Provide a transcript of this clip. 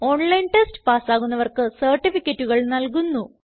online test പാസ്സാകുന്നവർക്ക് സർട്ടിഫികറ്റുകൾ നല്കുന്നു